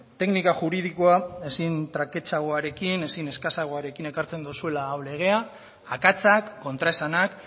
teknika juridikoa ezin traketsagoarekin ezin eskasagoarekin ekartzen duzuela legea akatsak kontraesanak